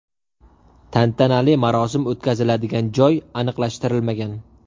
Tantanali marosim o‘tkaziladigan joy aniqlashtirilmagan.